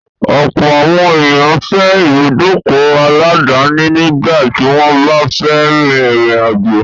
Ọ̀pọ̀ àwọn ènìyàn fẹ́ ìbùdókọ̀ aláàdáni nígbà tí wọ́n bá fẹ́ rin ìrìn àjò.